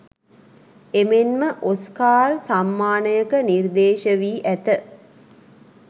එමෙන්ම ඔස්කාර් සම්මානයක නිර්දේශ වී ඇත